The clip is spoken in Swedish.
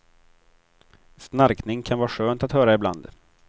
Snarkning kan vara skönt att höra ibland.